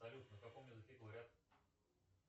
салют на каком языке говорят